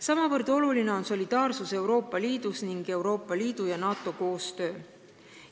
Samavõrd olulised on solidaarsus Euroopa Liidus ning Euroopa Liidu ja NATO koostöö.